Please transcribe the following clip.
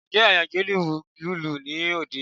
Ǹjẹ́ Àyàngalú ń lùlù ní òde?